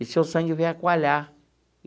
E seu sangue veio a coalhar.